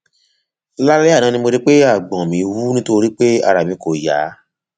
lálẹ àná mo rí pé àgbọn mi wú nítorí pé ara mi kò yá